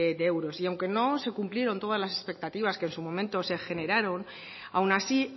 de euros y aunque no se cumplieron todas las expectativas que en su momento se generaron aun así